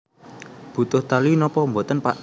Butuh tali napa boten Pak